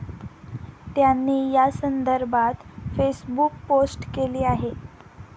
त्यांनी या संदर्भात फेसबुक पोस्ट केली आहे.